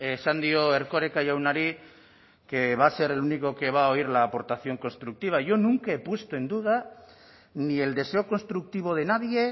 esan dio erkoreka jaunari que va a ser el único que va a oír la aportación constructiva yo nunca he puesto en duda ni el deseo constructivo de nadie